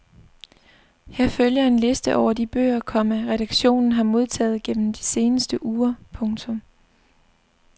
Her følger en liste over de bøger, komma redaktionen har modtaget gennem de seneste uger. punktum